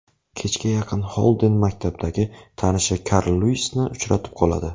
Kechga yaqin Xolden maktabdagi tanishi Karl Lyuisni uchratib qoladi.